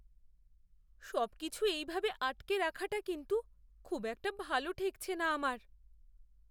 সবকিছু এইভাবে আটকে রাখাটা কিন্তু খুব একটা ভালো ঠেকছে না আমার!